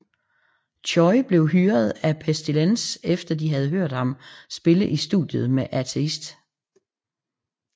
Choy blev hyret af Pestilence efter de havde hørt ham spille i studiet med Atheist